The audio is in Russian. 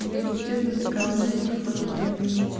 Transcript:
если честно такая мысль в тот момент